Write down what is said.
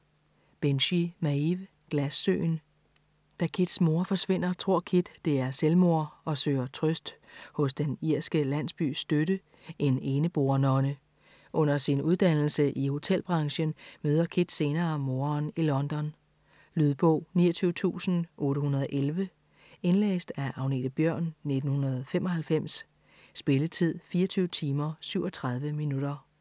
Binchy, Maeve: Glassøen Da Kits mor forsvinder, tror Kit, det er selvmord og søger trøst hos den irske landsbys støtte - en eneboer-nonne. Under sin uddannelse i hotelbranchen møder Kit senere moderen i London. Lydbog 29811 Indlæst af Agnethe Bjørn, 1995. Spilletid: 24 timer, 37 minutter.